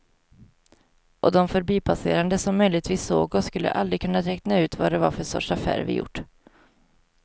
Och de förbipasserande som möjligtvis såg oss skulle aldrig kunna räkna ut vad det var för sorts affär vi gjort.